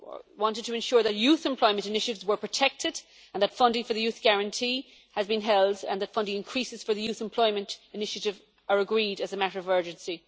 wanted to ensure that youth employment initiatives were protected and that funding for the Youth Guarantee has been held and that funding increases for the Youth Employment Initiative are agreed as a matter of urgency.